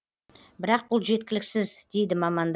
бірақ бұл жеткіліксіз дейді мамандар